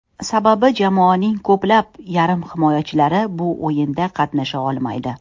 Sababi jamoaning ko‘plab yarim himoyachilari bu o‘yinda qatnasha olmaydi.